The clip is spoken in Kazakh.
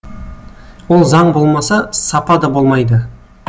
ол заң болмаса сапа да болмайды